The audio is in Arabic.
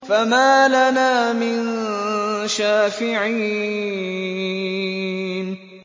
فَمَا لَنَا مِن شَافِعِينَ